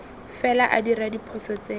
fela a dira diphoso tse